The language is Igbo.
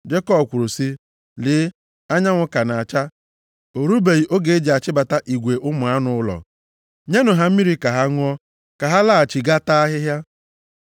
Jekọb kwuru sị, “Lee, anyanwụ ka na-acha. O rubeghị oge e ji achịbata igwe ụmụ anụ ụlọ. Nyenụ ha mmiri ka ha ṅụọ, ka ha laghachi gaa taa ahịhịa.”